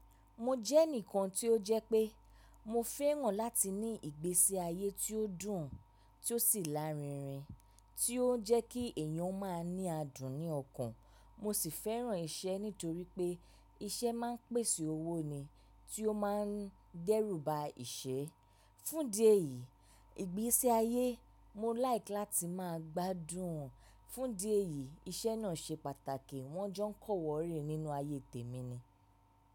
Mo jẹ́ ẹnìkan tí ó jẹ́ pé mo fẹ́ràn láti ní ìgbésí ayé tí ó dùn, tí ó sì lárinrin, tí ó ń jẹ́ kí èèyàn máa ní adùn ní ọkàn. Mo sì fẹ́ràn iṣẹ́ nítorí pé iṣẹ́ máa ń pèsè owó ni tí ó máa ń dẹ́rù ba ìṣẹ́. Fún ìdí èyí, ìgbésí ayé mo like láti máa gbádùn. Fún ìdí èyí iṣẹ́ náà ṣe pàtàkì. Wọ́n jọ ń kọ́ọ̀wọ́rìn nínú ayé tèmi ni.